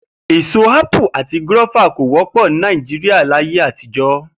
Èso ápù àti gúró̩fà kò wó̩pò̩ Nàìjíríà láyé àtijó̩